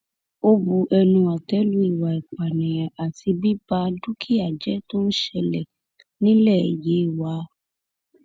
ó bu ẹnu àtẹ lu ìwà ìpànìyàn àti bíba dúkìá jẹ tó ń ṣẹlẹ nílẹ yewa